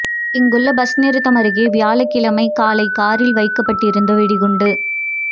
இங்குள்ள பஸ் நிறுத்தம் அருகே வியாழக்கிழமை காலை காரில் வைக்கப்பட்டிருந்த வெடிகுண்டு